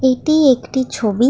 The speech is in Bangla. এটি একটি ছবি ।